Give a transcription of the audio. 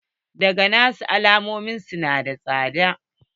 Taga na su almakun su na da tsada